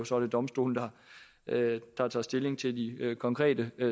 så er det domstolene der tager stilling til de konkrete